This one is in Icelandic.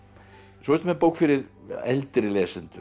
svo ertu með bók fyrir eldri lesendur